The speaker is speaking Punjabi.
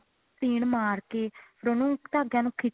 ਸੀਨ ਮਾਰਕੇ ਦੋਨੋ ਧਾਗਿਆ ਨੂੰ ਖਿੱਚ ਕੇ